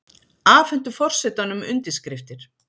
Afhentu forsetanum undirskriftir